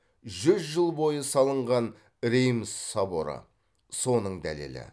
жүз жыл бойы салынған реймс соборы соның дәлелі